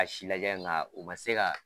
a si lajɛ nka u ma se ka